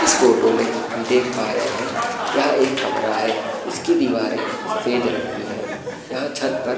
इस फोटो में हम देख पा रहे हैं यह एक कमरा है इसकी दीवारें सफ़ेद रंग की है यहाँ छत पर --